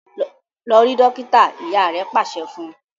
lọ rí dókítà! ìyá rẹ pàṣẹ fún.